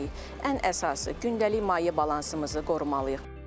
Ən əsası gündəlik maye balansımızı qorumalıyıq.